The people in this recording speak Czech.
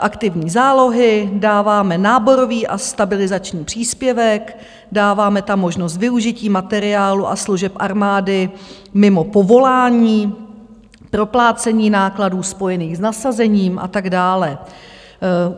aktivní zálohy dáváme náborový a stabilizační příspěvek, dáváme tam možnost využití materiálu a služeb armády mimo povolání, proplácení nákladů spojených s nasazením a tak dále.